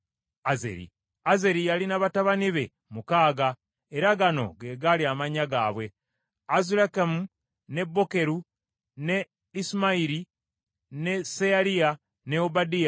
Azeri yalina batabani be mukaaga, era gano ge gaali amannya gaabwe: Azulikamu, ne Bokeru, ne Isimayiri, ne Seyaliya, ne Obadiya, ne Kanani.